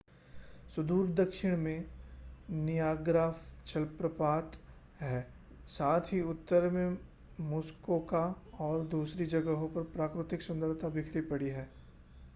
सुदूर दक्षिण में नियाग्रा जलप्रपात है साथ ही उत्तर में मुस्कोका और दूसरी जगहों पर प्राकृतिक सुन्दरता बिखरी पड़ी है